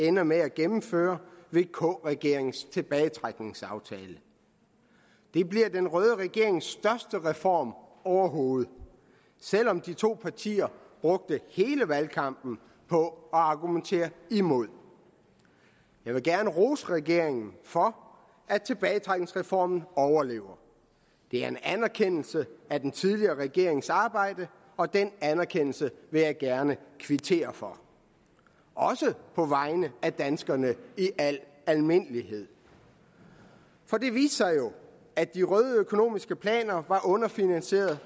ender med at gennemføre vk regeringens tilbagetrækningsaftale det bliver den røde regerings største reform overhovedet selv om de to partier brugte hele valgkampen på at argumentere imod jeg vil gerne rose regeringen for at tilbagetrækningsreformen overlever det er en anerkendelse af den tidligere regerings arbejde og den anerkendelse vil jeg gerne kvittere for også på vegne af danskerne i al almindelighed for det viste sig jo at de røde økonomiske planer var underfinansieret